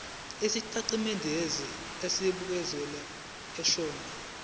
isitatimende esibukeziwe sohlelo